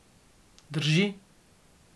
Drži.